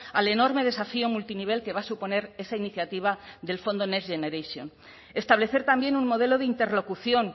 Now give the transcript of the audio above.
al enorme desafío multinivel que va a suponer esa iniciativa del fondo next generation establecer también un modelo de interlocución